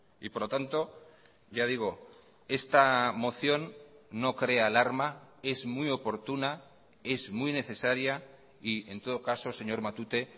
y por lo tanto ya digo esta moción no crea alarma es muy oportuna es muy necesaria y en todo caso señor matute